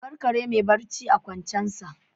A bar kare mai barci a kwancensa